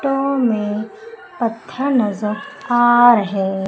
to मे नज़र आ रहे--